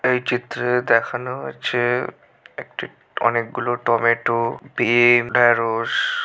এই চিত্রে দেখানো হচ্ছে একটি অনেকগুলো টমেটো বিম. ঢেড়স।